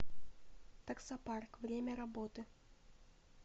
таксопарк время работы